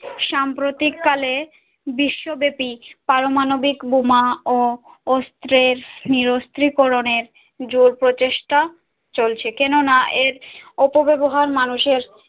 সাম্প্রতিক কালে বিশ্ব্যব্যাপী পারমাণবিক বোমা ও অস্ত্রের নিরস্ত্রীকরণের জোর প্রচেষ্টা চলছে কেননা এর অপব্যবহার মানুষের